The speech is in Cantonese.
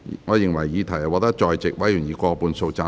我認為議題獲得在席委員以過半數贊成。